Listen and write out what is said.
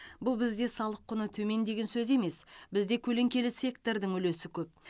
бұл бізде салық құны төмен деген сөз емес бізде көлеңкелі сектордың үлесі көп